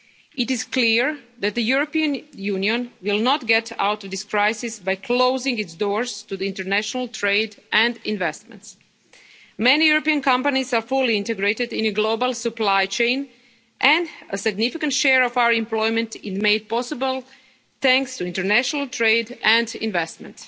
It is clear that the European Union will not get out of this crisis by closing its doors to international trade and investment. Many European companies are fully integrated in the global supply chain and a significant share of our employment is made possible thanks to international trade and investment.